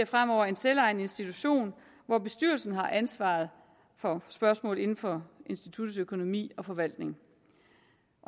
fremover en selvejende institution hvor bestyrelsen har ansvaret for spørgsmål inden for instituttets økonomi og forvaltning